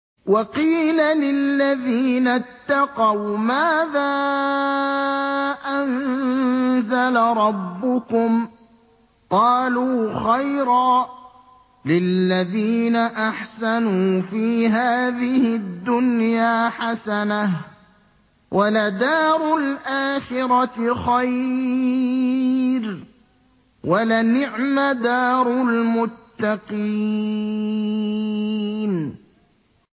۞ وَقِيلَ لِلَّذِينَ اتَّقَوْا مَاذَا أَنزَلَ رَبُّكُمْ ۚ قَالُوا خَيْرًا ۗ لِّلَّذِينَ أَحْسَنُوا فِي هَٰذِهِ الدُّنْيَا حَسَنَةٌ ۚ وَلَدَارُ الْآخِرَةِ خَيْرٌ ۚ وَلَنِعْمَ دَارُ الْمُتَّقِينَ